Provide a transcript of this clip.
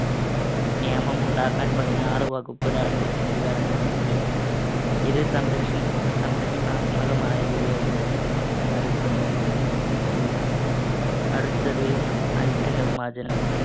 നിയമം ഉണ്ടാക്കാൻ പതിനാറ് വകുപ്പ് രാഷ്ട്രത്തിനു അധികാരം നൽകുന്നുണ്ട്. ഇത് സംരക്ഷ്~ സംരക്ഷണാത്മകമായ വിവേചനം എന്ന് അറിയപ്പെടുന്നു. അടുത്തത് അയിത്ത നിർമാർജ്ജനം.